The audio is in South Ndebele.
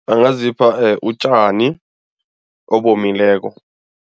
Angazipha utjani obomileko.